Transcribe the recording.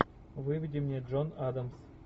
выведи мне джон адамс